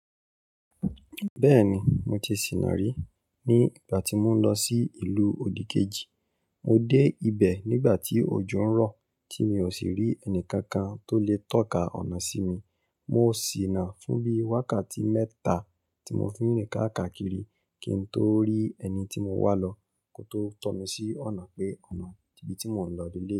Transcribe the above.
Bẹ́ẹ̀ni, mo ti sìnà rí ní ìgbà tí mò ń lọ sí ìlú odìkejì. Mo dé ibẹ̀ nígbà tí òjò ń rọ̀, tí mi ò sì rí ẹnì kankan tó lè tọ́ka ọ̀nà sí mi. Mo sì ná fún bí wákàtí mẹ́ta tí mo fi rìn káàkiri kín tó rí ẹni tí mo wá lọ kó tó tọ́ mi sí ọ̀nà pé ọ̀nà ibi tí mò ń lọni eleyii.